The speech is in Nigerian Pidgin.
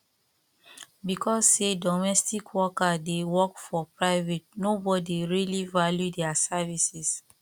because sey domestic worker dey work for private nobodi really value their services